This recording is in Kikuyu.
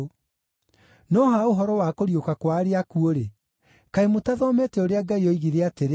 No ha ũhoro wa kũriũka kwa arĩa akuũ-rĩ, kaĩ mũtathomete ũrĩa Ngai oigire atĩrĩ,